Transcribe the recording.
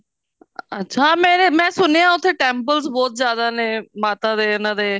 ਅੱਛਾ ਹਾਂ ਹਾਂ ਮੈਂ ਸੁਣਿਆ ਉੱਥੇ temples ਬਹੁਤ ਜਿਆਦਾ ਨੇ ਮਾਤਾ ਦੇ ਇਹਨਾ ਦੇ